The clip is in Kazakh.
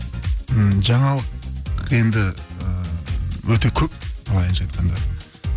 м жаңалық енді і өте көп былайынша айтқанда